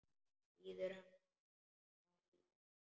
Biður hann að bíða.